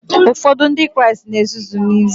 Ụfọdụ Ndị Kraịst na ezuzu n'ezie